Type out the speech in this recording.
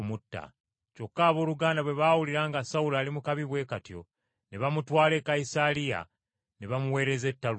Kyokka abooluganda bwe baawulira nga Sawulo ali mu kabi bwe katyo ne bamutwala e Kayisaliya ne bamuweereza e Taluso.